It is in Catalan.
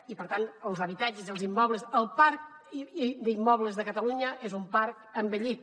i per tant els habitatges els immobles el parc d’immobles de catalunya és un parc envellit